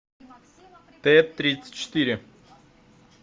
т тридцать четыре